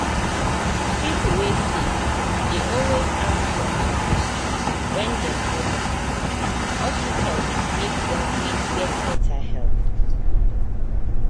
pipo wey sick dey always ask doctor question wen dem go hospital hospital make dem fit get better help.